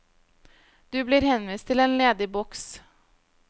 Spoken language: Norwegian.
Du blir henvist til en ledig boks.